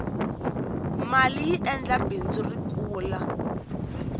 maliyi endla bindzu ri kula